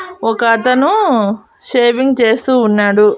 ఒకతను షేవింగ్ చేస్తూ ఉన్నాడు.